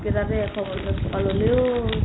তাতে এটা